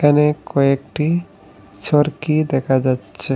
এখানে কয়েকটি ছড়কি দেখা যাচ্ছে।